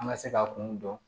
An ka se ka kun dɔn